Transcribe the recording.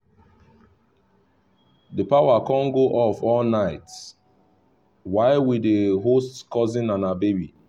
the power con go off all night while we dey host cousin and her baby